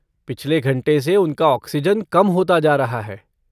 पिछले घंटे से उनका ऑक्सिजन कम होता जा रहा है।